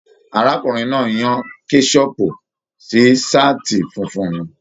Arákùnrin náà yan kẹsọpu sí saati fúnfún mí.